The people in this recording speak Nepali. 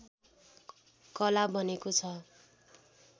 कला बनेको छ